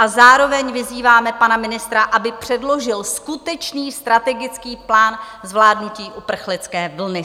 A zároveň vyzýváme pana ministra, aby předložil skutečný strategický plán zvládnutí uprchlické vlny.